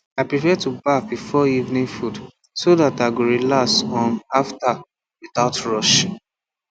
i prefer to baff before evening food so that i go relax um after without rush